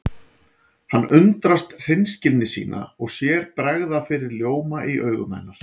Hann undrast hreinskilni sína og sér bregða fyrir ljóma í augum hennar.